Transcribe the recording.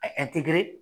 A ye